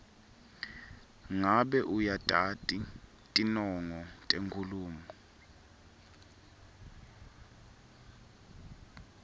ngabe uyatati tinongo tenkhulumo